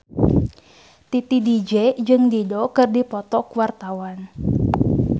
Titi DJ jeung Dido keur dipoto ku wartawan